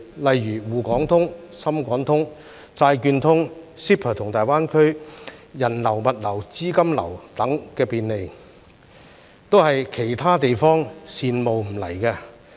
例如"滬港通"、"深港通"、債券通、CEPA 和大灣區人流、物流、資金流等便利，都是其他地方羨慕不來的。